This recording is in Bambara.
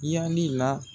Yanni la